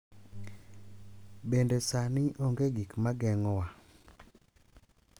Bende, sani onge gik ma geng’owa.